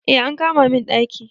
Eh an kama min daki